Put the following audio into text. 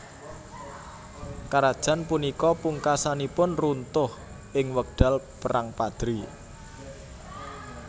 Karajan punika pungkasanipun runtuh ing wekdal Perang Padri